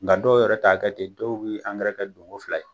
Nka dɔw yɛrɛ t'a kɛ ten. Dɔw bɛ angɛrɛ kɛ don ko fila ye.